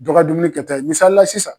Dɔgɔ dum kɛta ye misalila sisan